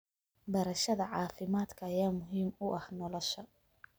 Barashada caafimaadka ayaa muhiim u ah nolosha.